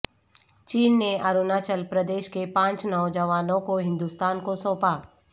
چین نے اروناچل پردیش کے پانچ نوجوانوں کو ہندوستان کو سونپا